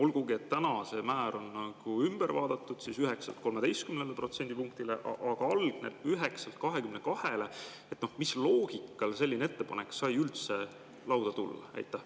Nüüd see määr on küll tõstetud 9%‑lt 13%-le, aga mis loogikale see algne ettepanek 9%‑lt 22%‑le sai üldse lauale tulla?